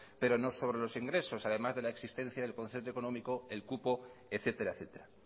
pero no sobre los ingresos además de la existencia del concepto económico el cupo etcétera etcétera